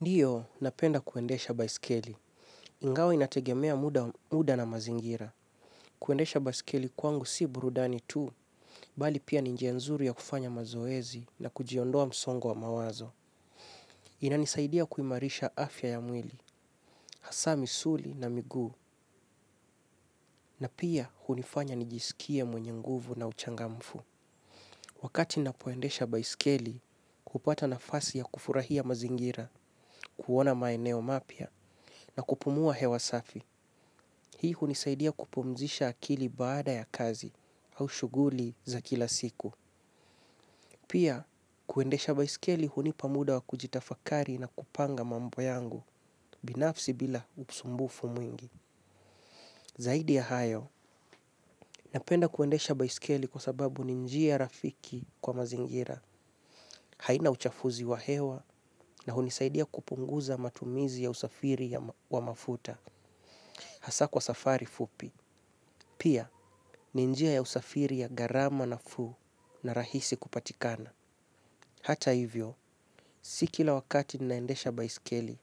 Ndiyo, napenda kuendesha baiskeli. Ingawa inategemea muda na mazingira kuendesha baiskeli kwangu si burudani tu bali pia ni njia nzuri ya kufanya mazoezi na kujiondoa msongo wa mawazo. Inanisaidia kuimarisha afya ya mwili, hasa misuli na miguu, na pia hunifanya nijisikie mwenye nguvu na uchangamfu. Wakati ninapoendesha baiskeli, hupata nafasi ya kufurahia mazingira, kuona maeneo mapya, na kupumua hewa safi. Hii hunisaidia kupumzisha akili baada ya kazi au shughuli za kila siku. Pia, kuendesha baiskeli hunipa muda wa kujitafakari na kupanga mambo yangu binafsi bila usumbufu mwingi. Zaidi ya hayo, napenda kuendesha baiskeli kwa sababu ni njia rafiki kwa mazingira. Haina uchafuzi wa hewa na hunisaidia kupunguza matumizi ya usafiri wa mafuta. Hasa kwa safari fupi. Pia, ni njia ya usafiri ya gharama nafuu na rahisi kupatikana. Hata hivyo, si kila wakati ninaendesha baiskeli,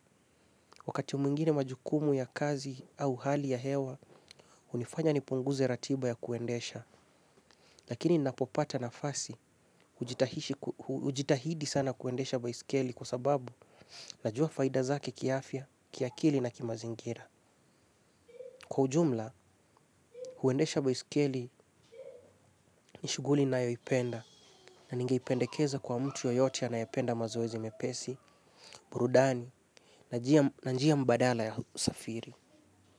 wakati mwingine majukumu ya kazi au hali ya hewa, hunifanya nipunguze ratiba ya kuendesha, lakini ninapopata nafasi, hujitahidi ku ujitahidi sana kuendesha baiskeli kwa sababu, najua faida zake kiafya, kiakili na kimazingira. Kwa ujumla, huendesha baiskeli ni shughuli ninayoipenda na ningeipendekeza kwa mtu yoyote anayependa mazoezi mepesi, burudani, na njia mbadala ya usafiri.